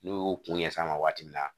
N'u y'u kun ɲɛf'a ma waati min na